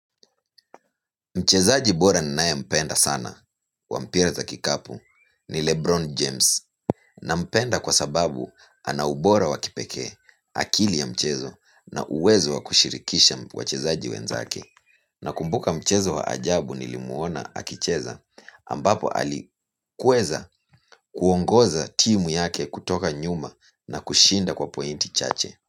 Mchezaji bora ninae mpenda sana wa mpira za kikapu ni Lebron James. Na mpenda kwa sababu anaubora wakipeke akili ya mchezo na uwezo wakushirikisha wachezaji wenzake. Na kumbuka mchezo wa ajabu nilimuona akicheza ambapo alikuweza kuongoza timu yake kutoka nyuma na kushinda kwa pointi chache.